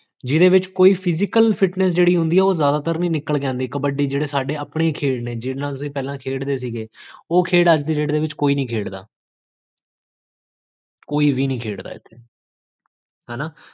ਜੇਹ੍ਦ੍ਹੇ ਵਿੱਚ physical fitness ਜੇਹੜੀ ਹੁੰਦੀ ਹੈ, ਓਹੋ ਜਾਦਾ ਤਰ ਕਬੱਡੀ ਜੇਹੜੇ ਸਾਰੇ ਆਪਣੇ ਹੀ ਖੇਡ ਨੇ, ਜੇਹੜੇ ਸਾਰੇ ਆਪਣੇ ਖੇਡ ਨੇ, ਓਹ ਖੇਡ ਅੱਜ ਦੀ date ਵਿੱਚ ਕੋਈ ਨੀ ਖੇਡਦਾ